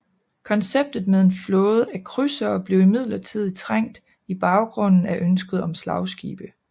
Konceptet med en flåde af krydsere blev imidlertid trængt i baggrunden af ønsket om slagskibe